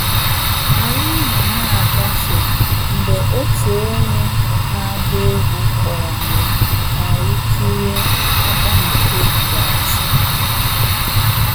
Anyị nọ na-agafe, mgbe otu onye na-agba egwú kpọrọ anyị ka anyị kirie agba nke ikpeazụ